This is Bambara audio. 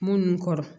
Munnu kɔrɔ